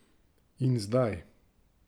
In zdaj?